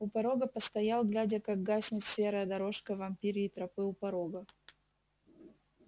у порога постоял глядя как гаснет серая дорожка вампирьей тропы у порога